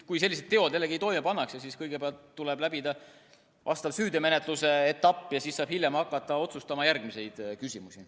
Kui sellised teod toime pannakse, siis kõigepealt tuleb läbida vastav süüteomenetluse etapp ja siis saab hiljem hakata otsustama järgmisi küsimusi.